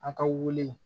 A ka wili